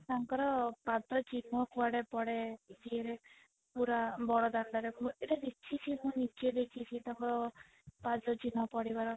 ତାଙ୍କର ପାଦ ଚିହ୍ନ କୁଆଡେ ପଡେ ଇଏ ରେ ପୁରା ବଡ ଦାଣ୍ଡରେ ମୁଁ ଏଇଟା ଦେଖିଚି ମୁଁ ନିଜେ ଦେଖିଛି ତାଙ୍କର ପାଦ ଚିହ୍ନ ପଡ଼ିବାର